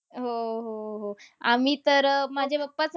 हो, हो, हो. आम्हीतर माझे pappa च माझ्या